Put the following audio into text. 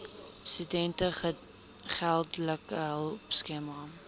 studente geldelike hulpskema